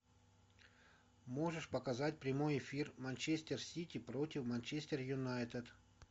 можешь показать прямой эфир манчестер сити против манчестер юнайтед